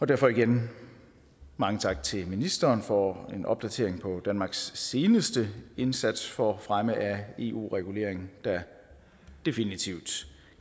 derfor igen mange tak til ministeren for en opdatering om danmarks seneste indsats for fremme af eu reguleringen der definitivt